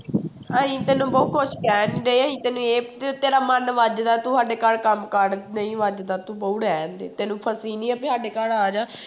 ਅਸੀਂ ਤੈਨੂੰ ਬਹੁ ਕੁਛ ਕਹਿਣ ਨਹੀਂ ਡੇ ਅਸੀਂ ਤੈਨੂੰ ਇਹ ਤੇਰਾ ਮਨ ਵੱਜਦਾ ਤੂੰ ਸਾਡੇ ਘਰ ਕੰਮ ਕਰ ਨਹੀਂ ਵੱਜਦਾ ਤੂੰ ਬਹੂ ਰਹਿਣਦੇ, ਤੈਨੂੰ ਫਸੀ ਨੀ ਹੈ ਵੀ ਸਾਡੇ ਘਰ ਆ ਜਾ